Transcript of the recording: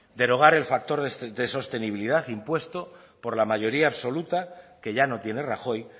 derogar el factor de sostenibilidad impuesto por la mayoría absoluta que ya no tiene rajoy